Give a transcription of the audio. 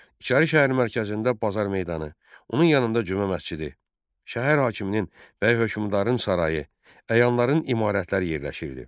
İçəri şəhərin mərkəzində bazar meydanı, onun yanında Cümə məscidi, şəhər hakiminin bəy hökmdarının sarayı, əyanların imarətləri yerləşirdi.